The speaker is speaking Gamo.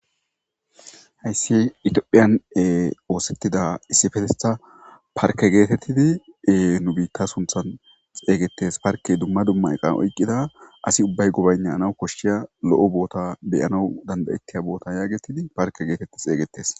Hayssi itiophiyane oosettida issifetettha parke geetettidiee nu biitta sunthan xeygettes parke dumma dumma eqan oyqqida asi ubbay gobaynnana koshshiya lo'o boota beyana dandayettiya bootan yaagetidi parke geetetti xeygetes